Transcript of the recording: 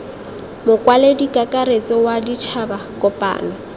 mokwaledi kakaretso wa ditšhaba kopano